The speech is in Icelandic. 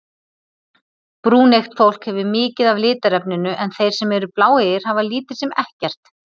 Brúneygt fólk hefur mikið af litarefninu en þeir sem eru bláeygir hafa lítið sem ekkert.